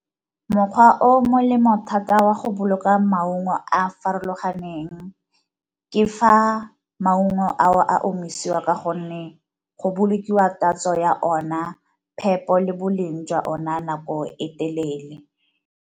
Mokgwa o molemo thata wa go boloka maungo a a farologaneng ke fa maungo ao a omisiwa ka gonne go bolokiwa tatso ya ona, phepo, le boleng jwa ona nako e telele.